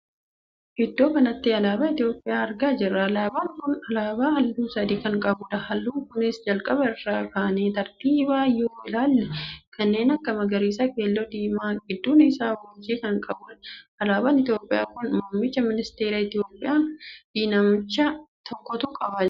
Iddoo kanatti alaabaa Itoophiyaa argaa jirra. alaabaan kun alaabaa halluu sadii kan qabuudha. halluun kunis jalqaba irraa kaanee tartiiban yoo ilaalle kanneen akka magariisa, keelloo, diimaa gidduun isaa urjii kan qabuudha. alaabaa Itoophiyaa kan muummicha ministeera Itoophiyaa fi namicha tokkotu qabaa jira.